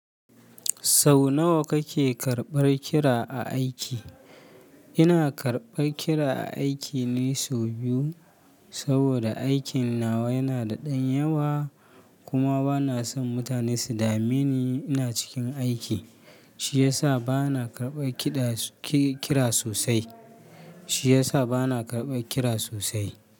Sau nawa kake karɓar kira a aiki? Ina karɓar kira a aiki ne sau biyu, saboda aikin nawa yana da ɗan yawa kuma bana son mutane su dame ni ina cikin aiki, shi ya sa bana karɓar kira sosai. Shi ya sa bana karɓar kira sosai.